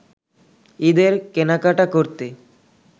ঈদের কেনাকাটা করতে